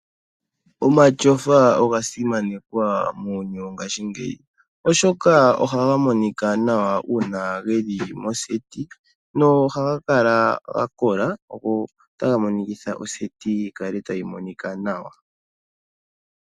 Omatyofa oga simanekwa muuyuni wongashingeyi , oshoka ohaga monika nawa uuna geli mondunda yokugondja nohaga kala gakola.